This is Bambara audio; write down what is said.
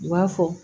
U b'a fɔ